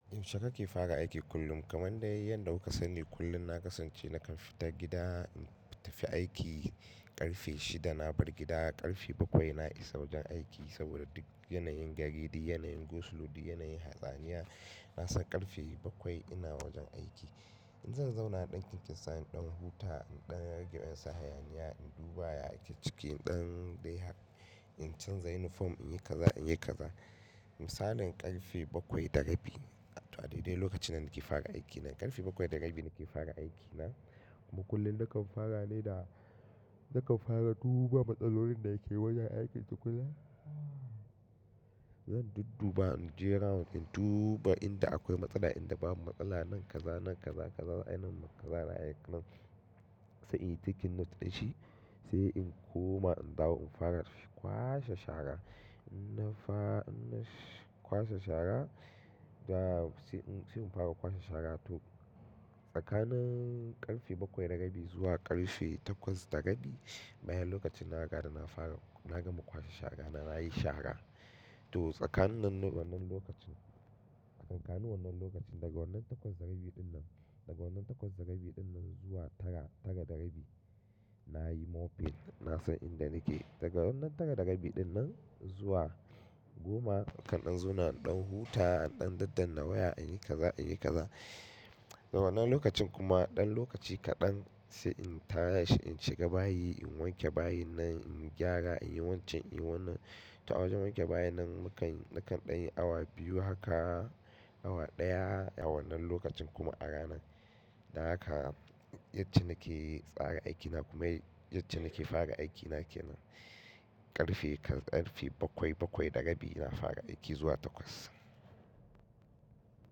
Yaushe kake fara aiki kullum? Kamar dai yanda kuka sani kullum na kasance nakan fita gida, in tafi aiki ƙarfe shida na bar gida, ƙarfe bakwai na isa wajen aiki. Saboda duk yanayin gari, duk yanayin go slow, duk yanayin hatsaniya, na san ƙarfe bakwai ina wajen aiki. In zan zauna a ɗakin kinsan ɗan huta ɗan rage ɗan hayaniya in duba ya ake ciki ɗan ɗaihak in canza yunifom in yi kaza in yi kaza misalin ƙarfe bakwai da rabi. To a daidai lokacin nan nake fara aiki na ƙarfe bakwai da rabi nake fara aiki na kuma kullum nakan fara ne da nakan fara duba matsalolin da ke wajen aikin tukuna. Zan dudduba in jira in duba inda akwai matsala inda babu matsala nan kaza nan kaza kaza a ina mun kaza a aiki nan sai in ciki na taɗa shi sai in koma in dawo in fara kwashe shara. In na fa in na kwashe shara da sai mun fara kwashe shara to tsakanin ƙarfe bakwai da rabi zuwa ƙarfe takwas da rabi bayan lokacin na hara da na fara na gama kwashe shara na nayi shara. To tsakanin wannan lokacin tsakanin wannan lokacin daga wannan takwas da rabi dinnan daga wannan takwas da rabi dinnan zuwa tara tara da rabi nayi moping na san inda nake. Daga wannan tara da rabi dinnan zuwa goma kaɗan zauna ɗan hutawa ɗan daddan na waya in yi kaza in yi kaza. Wannan lokacin kuma ɗan lokaci kaɗan sai in taya shi in shiga bayi in wanke bayi na in gyara in yi wancan in yi wannan. To a wajen wanke bayi nan mukan nakan ɗan yi awa biyu haka awa ɗaya a wannan lokacin kuma a rana. Na haka yace nake tsara aikina kuma yace nake fara aiki na ke nan ƙarfe ƙarfe bakwai bakwai da rabi ina fara aiki zuwa takwas.